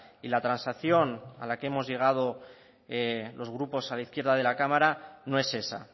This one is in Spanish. y la transacción a la que hemos llegado los grupos a la izquierda de la cámara no es esa